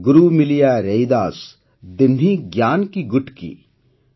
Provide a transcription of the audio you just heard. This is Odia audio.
ଗୁରୁ ମିଲିୟା ରୈଦାସ ଦିହ୍ନି ଜ୍ଞାନ କୀ ଗୁଟ୍କୀ